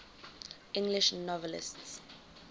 english novelists